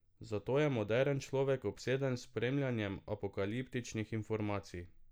Zato je moderen človek obseden s spremljanjem apokaliptičnih informacij.